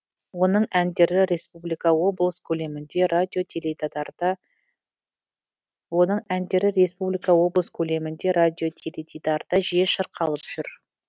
оның әндері республика облыс көлемінде радио теледидарда жиі шырқалып жүр